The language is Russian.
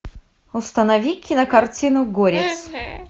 установи кинокартину горец